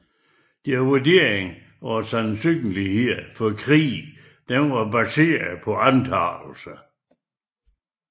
Deres vurderinger af sandsynligheden for krig var baseret på antagelser